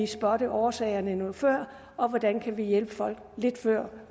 spotte årsagerne noget før og hvordan vi kan hjælpe folk